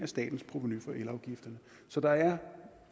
statens provenu fra elafgifterne så der er